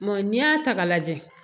n'i y'a ta k'a lajɛ